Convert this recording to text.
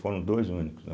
Foram dois únicos, né